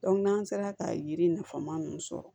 n'an sera ka yiri nafama ninnu sɔrɔ